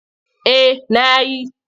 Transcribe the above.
Eh na yi.